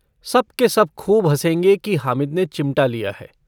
सब के सब खूब हँसेंगे कि हामिद ने चिमटा लिया है।